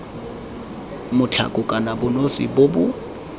mokgatlho kana bonosi bo bo